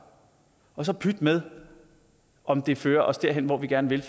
og så pyt med om det fører os derhen hvor vi gerne vil